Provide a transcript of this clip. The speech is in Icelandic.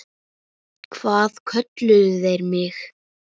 Hvað kölluðu þeir mig?